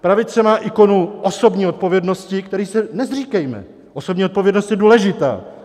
Pravice má ikonu osobní odpovědnosti, které se nezříkejme, osobní odpovědnost je důležitá.